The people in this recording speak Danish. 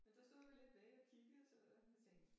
Men der stod vi lidt væk og kiggede så jeg tænkte